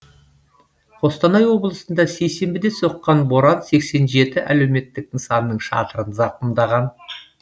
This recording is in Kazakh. қостанай облысында сейсенбіде соққан боран сексен жеті әлеуметтік нысанның шатырын зақымдаған